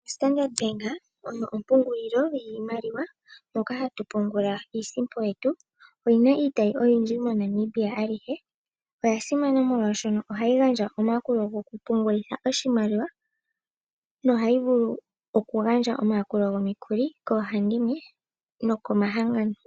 Standard Bank oyo ompungulilo yiimaliwa moka hatu pungula iisimpo yetu. Oyina iitayi oyindji moNamibia alihe. Oya simana omolwashoka ohayi gandja omayakulo gokupungulitha oshimaliwa nohayi vulu okugandja omayakulo gomikuli koohandimwe nokomahangano.